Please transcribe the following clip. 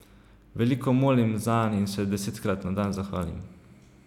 Veliko molim zanj in se desetkrat na dan zahvalim.